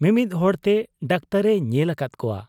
ᱢᱤᱢᱤᱫ ᱦᱚᱲᱛᱮ ᱰᱟᱠᱛᱚᱨ ᱮ ᱧᱮᱞ ᱟᱠᱟᱫ ᱠᱚᱣᱟ ᱾